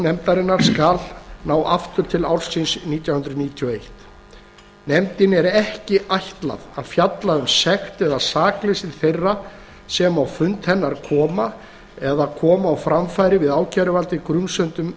nefndarinnar skal ná aftur til ársins nítján hundruð níutíu og eitt nefndinni er ekki ætlað að fjalla um sekt eða sakleysi þeirra sem á fund hennar koma eða koma á framfæri við ákæruvaldið grunsemdum